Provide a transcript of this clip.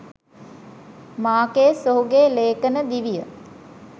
Márquez ඔහුගේ ‍ලේඛන දිවිය